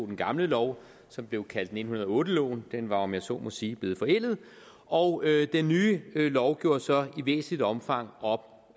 den gamle lov som blev kaldt nitten hundrede og otte loven den var om jeg så må sige blevet forældet og den nye lov gjorde så i væsentligt omfang op